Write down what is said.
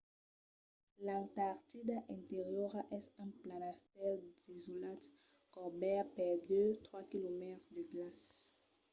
l'antartida interiora es un planastèl desolat cobèrt per 2-3 km de glaç